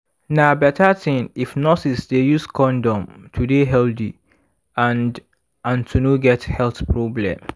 na better thing if nurses dey use condom to dey healthy and and to no get health problem